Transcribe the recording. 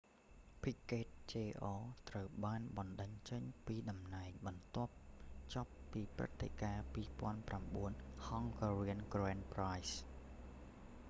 piquet jr ត្រូវបានបណ្តេញចេញពីតំណែងបន្ទាប់ចប់ពីព្រឹត្តិការណ៍ 2009 hungarian grand prix